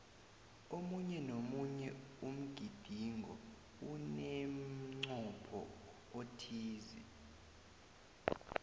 omunye nomunye umgidingo unemncopho othize